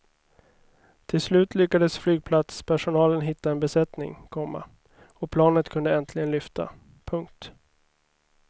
Till slut lyckades flygplatspersonalen hitta en besättning, komma och planet kunde äntligen lyfta. punkt